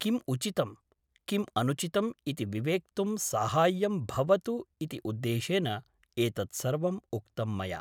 किम् उचितं , किम् अनुचितम् इति विवेक्तुं साहाय्यं भवतु इति उद्देशेन एतत् सर्वम् उक्तं मया ।